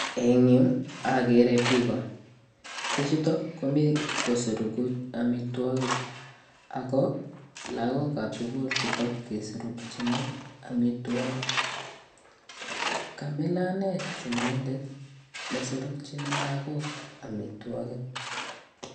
En yuu okere biko bichuton komii kosoroku omitwokik ako lokokab sukul chuton kesorokin omitwokik, kamilan anee chumindet nesorokin lokok omitwokik.